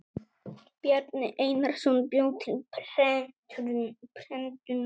Bjarni Einarsson bjó til prentunar.